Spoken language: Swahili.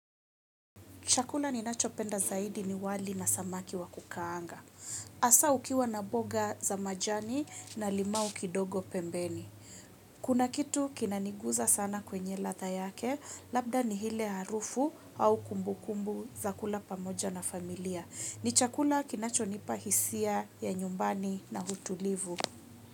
Chakula ninachopenda zaidi ni wali na samaki wa kukaanga. Hasa ukiwa na mboga za majani na limau kidogo pembeni. Kuna kitu kinaniguza sana kwenye ladha yake, labda ni ile harufu au kumbukumbu za kula pamoja na familia. Ni chakula kinachonipa hisia ya nyumbani na utulivu.